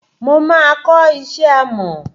Mo máa kò isé amò.